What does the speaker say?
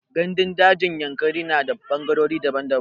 Ganɗun dajin Yankari na da fangarori daban daban.